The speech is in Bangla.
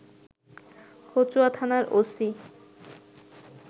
কচুয়া থানার ওসি